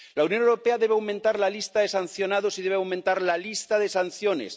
La Unión Europea debe aumentar la lista de sancionados y debe aumentar la lista de sanciones.